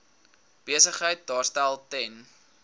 besigheid daarstel ten